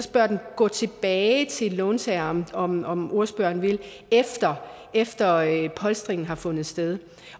bør den gå tilbage til låntageren om om ordføreren vil efter at polstringen har fundet sted